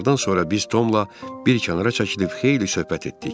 Nahardan sonra biz Tomla bir kənara çəkilib xeyli söhbət etdik.